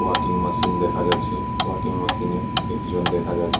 Walking machine দেখা যাচ্ছে walking মেশিনে একজন দেখা যাচ্ছে।